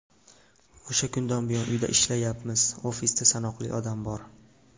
O‘sha kundan buyon uyda ishlayapmiz, ofisda sanoqli odam bor.